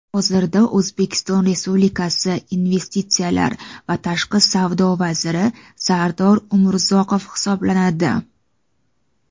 hozirda O‘zbekiston Respublikasi Investitsiyalar va tashqi savdo vaziri Sardor Umurzoqov hisoblanadi.